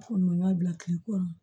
bila kile kɔnɔ